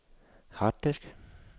harddisk